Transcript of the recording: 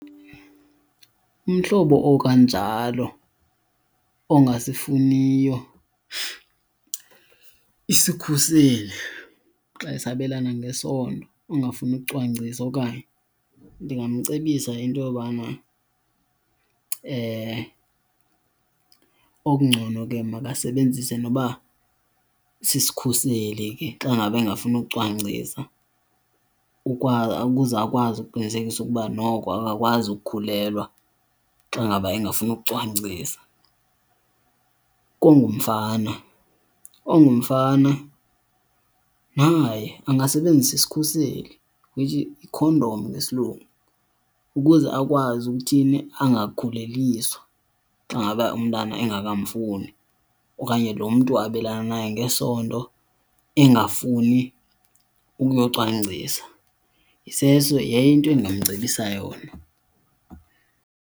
Umhlobo okanjalo ongasifuniyo isikhuseli xa esabelana ngesondo angafuni ukucwangcisa okanye, ndingamcebisa into yobana okungcono ke makasebenzise noba sisikhuseli ke xa ngaba engafuni kucwangcisa ukuze akwazi ukuqinisekisa ukuba noko akakwazi ukukhulelwa xa ngaba engafuni ukucwangcisa. Kongumfana, ongumfana naye angasebenzisa isikhuseli which yikhondom ngesilungu ukuze akwazi ukuthini angakhuleliswa xa ngaba umntana engakamfuni, okanye lo mntu abelana naye ngesondo engafuni ukuyocwangcisa. Yayinto endingamcebisa yona.